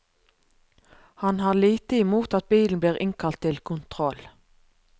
Han har lite imot at bilen blir innkalt til kontroll.